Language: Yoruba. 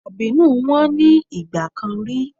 Dàbínù wọ́n ní ìgbà kan rí.